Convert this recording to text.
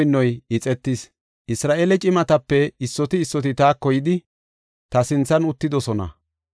Isra7eele cimatape issoti issoti taako yidi, ta sinthan uttidosona.